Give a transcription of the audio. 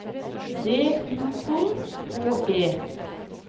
D U K K E